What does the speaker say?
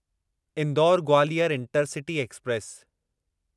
Indore Gwalior intercity express